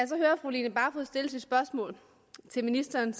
så hører fru line barfod stille sit spørgsmål til ministeren